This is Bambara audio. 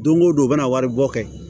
Don o don u bɛna wari bɔ kɛ